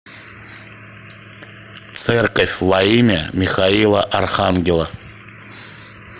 церковь во имя михаила архангела